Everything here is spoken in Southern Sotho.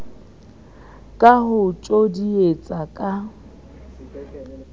ka ho o tjodietsa ka